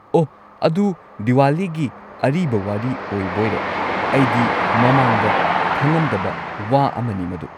ꯑꯣꯍ, ꯑꯗꯨ ꯗꯤꯋꯥꯂꯤꯒꯤ ꯑꯔꯤꯕ ꯋꯥꯔꯤ ꯑꯣꯏꯕꯣꯏꯔꯦ꯫ ꯑꯩꯗꯤ ꯃꯃꯥꯡꯗ ꯈꯪꯉꯝꯗꯕ ꯋꯥ ꯑꯃꯅꯤ ꯃꯗꯨ꯫